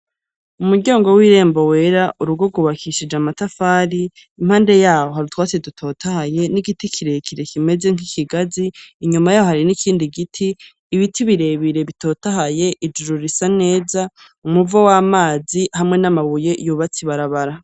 Umuryango w'irembo wera, urugo rwubakishije amafari, iruhande yaho hari utwatsi dutotahaye n'igiti kirekire kimeze nk'ikigazi, inyuma yaho hari n'ikindi giti, ibiti birebire bitotahaye, ijuru risa neza, umuvo w'amazi hamwe n'amabuye yubatse ibarabara.